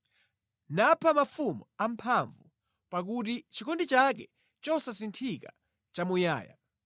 Napha mafumu amphamvu, pakuti chikondi chake chosasinthika nʼchamuyaya.